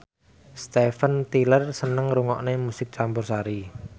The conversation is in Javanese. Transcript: Steven Tyler seneng ngrungokne musik campursari